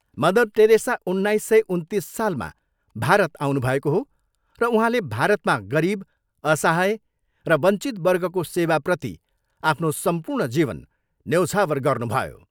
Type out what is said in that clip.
Mother Teresa उन्नाइस सय उन्तिस सालमा भारत आउनुभएको हो र उहाँले भारतमा गरिब, असहाय र वञ्चित वर्गको सेवाप्रति आफ्नो सम्पूर्ण जीवन न्यौछावर गर्नुभयो।